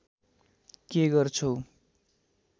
के गर्छौ